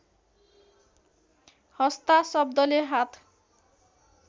हस्ता शब्दले हात